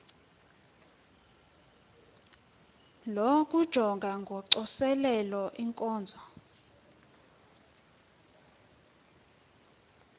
lokujonga ngocoselelo iinkonzo